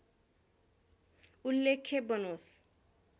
उल्लेख्य बनोस्